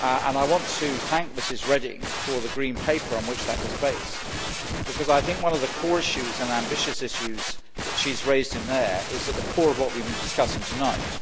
I want to thank Ms Reding for the Green Paper on which that was based, because I think that one of the core, ambitious issues that she raised in there is at the core of what we have been discussing tonight.